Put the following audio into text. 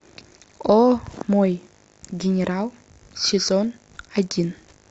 о мой генерал сезон один